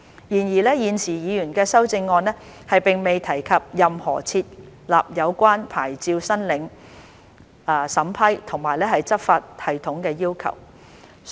然而，現時議員的修正案並未提及任何設立有關牌照申領審批和執法系統的要求。